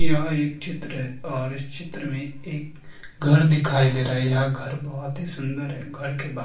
यह एक चित्र है और इस चित्र में एक घर दिखाई दे रहा है यह घर बहौत ही सुन्दर है घर के बाहर --